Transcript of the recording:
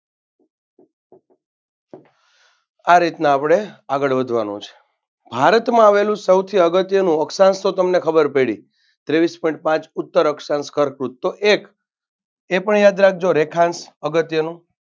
આ રીતના આપણે આગળ વધવાનું છે. ભારતમાં આવેલું સૌથી અગત્યનું અક્ષાંશ તો તમને ખબર પડી ત્રેવીસ Point પાંચ ઉત્તર અક્ષાંશ કર્કવૃત તો એક એ પણ યાદ રાખજો રેખાંશ અગત્યનું